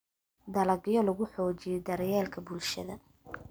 Dalagyo lagu Xoojiyo Daryeelka Bulshada.